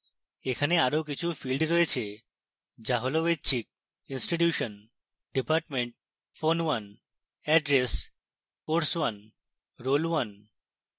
এখানে আরো কিছু fields রয়েছে যা হল ঐচ্ছিক: